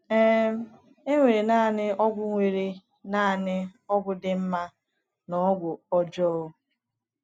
um E nwere naanị ọgwụ nwere naanị ọgwụ dị mma na ọgwụ ọjọọ.